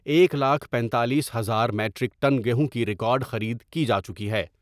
ایک لاکھ پنتالیس ہزار میٹر یک ٹن گیہوں کی ریکارڈخرید کی جا چکی ہے ۔